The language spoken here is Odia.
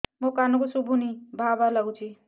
ମୋ କାନକୁ ଶୁଭୁନି ଭା ଭା ଲାଗୁଚି